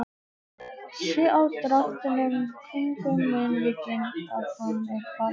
Sé á dráttunum kringum munnvikin að hann er kvalinn.